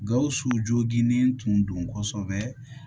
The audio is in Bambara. Gawusu joginnen tun don kosɛbɛ